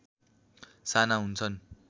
साना हुन्छन्